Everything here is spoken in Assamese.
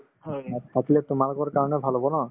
অ থাকিলে তোমালোকৰ কাৰণেও ভাল হব ন